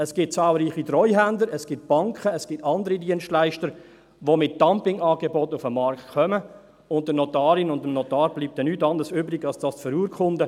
Es gibt zahlreiche Treuhänder, es gibt Banken, es gibt andere Dienstleister, die mit Dumpingangeboten auf den Markt kommen, und der Notarin und dem Notar bleibt dann nichts anderes übrig, als das zu verurkunden.